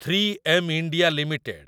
three M India limited